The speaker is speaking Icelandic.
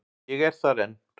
Ég er þar enn.